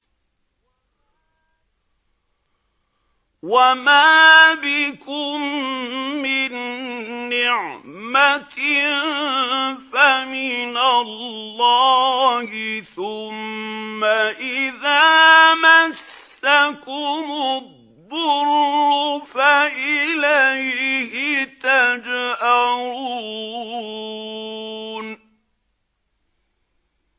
وَمَا بِكُم مِّن نِّعْمَةٍ فَمِنَ اللَّهِ ۖ ثُمَّ إِذَا مَسَّكُمُ الضُّرُّ فَإِلَيْهِ تَجْأَرُونَ